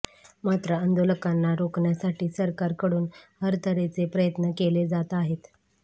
मात्र आंदोलकांना रोखण्यासाठी सरकारकडून हरतऱ्हेचे प्रयत्न केले जात आहेत